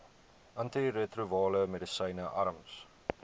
antiretrovirale medisyne arms